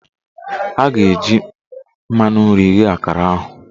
Ọ ga-eji mmanụ nri ghee akara ahụ